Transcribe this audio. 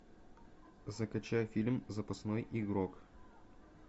закачай фильм запасной игрок